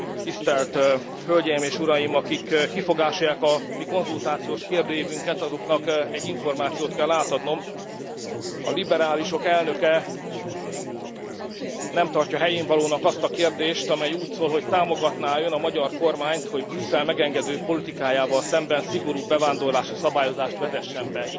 Tisztelt Hölgyeim és Uraim, akik kifogásolják a mi konzultációs kérdőívünket, azoknak egy információt kell átadnom a liberálisok elnöke nem tartja helyénvalónak azt a kérdést, amely úgy szól, hogy támogatná e Ön a magyar kormányt, hogy Brüsszel megengedő politikájával szemben szigorúbb bevándorlási szabályozást vezessen be.